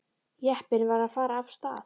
Jeppinn var að fara af stað.